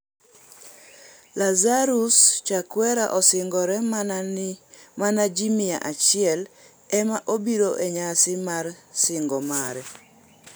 Lazarus Chakwera osingore, mana ji mia achiel ema obiro e nyasi mar sing'o mare